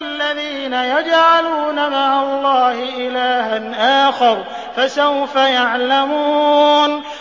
الَّذِينَ يَجْعَلُونَ مَعَ اللَّهِ إِلَٰهًا آخَرَ ۚ فَسَوْفَ يَعْلَمُونَ